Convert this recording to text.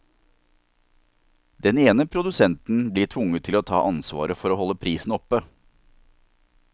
Den ene produsenten blir tvunget til å ta ansvaret for å holde prisen oppe.